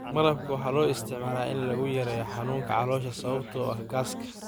Malabka waxaa loo isticmaalaa in lagu yareeyo xanuunka caloosha sababtoo ah gaaska.